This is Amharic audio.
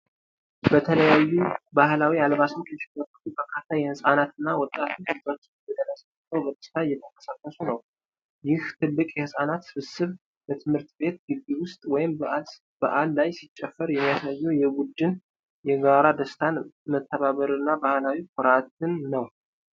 በተለያዩ ባህላዊ አልባሳት ያሸበረቁ በርካታ ሕጻናትና ወጣቶች እጃቸውን ወደ ላይ ዘርግተው በደስታ እየተንቀሳቀሱ ነው። ይህ ትልቅ የህጻናት ስብስብ በትምህርት ቤት ግቢ ውስጥ ወይም በዓል ላይ ሲጨፍር፣ የሚያሳየው የቡድን የጋራ ደስታን፣ መተባበርን እና ባህላዊ ኩራትን ነው።